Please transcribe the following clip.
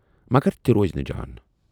مگر تہِ روزِ نہٕ جان۔